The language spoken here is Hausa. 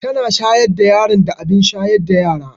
Tana shayar da yaron da abin shayar da yara.